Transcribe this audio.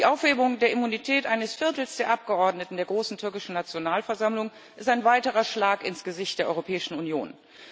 Die Aufhebung der Immunität eines Viertels der Abgeordneten der Großen Türkischen Nationalversammlung ist ein weiterer Schlag ins Gesicht der Europäischen Union.